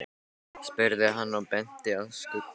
spurði hann og benti á Skunda.